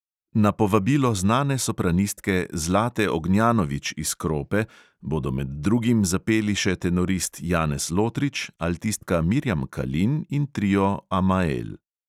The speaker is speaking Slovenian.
Na povabilo znane sopranistke zlate ognjanović iz krope bodo med drugim zapeli še tenorist janez lotrič, altistka mirjam kalin in trio amael.